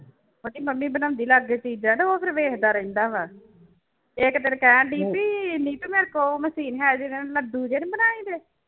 ਉਹਦੀ ਮੰਮੀ ਬਣਾਉਂਦੀ ਲਾਗੇ ਚੀਜ਼ਾਂ ਤੇ ਉਹ ਫਿਰ ਵੇਖਦਾ ਰਹਿੰਦਾ ਵਾ, ਇੱਕ ਦਿਨ ਕਹਿਣਡੀ ਵੀ ਨੀਤ ਮੇਰੇ ਕੋੋਲ ਉਹ ਮਸ਼ੀਨ ਹੈ ਜਿਹੇ ਨੀ ਬਣਾਈਦੇ।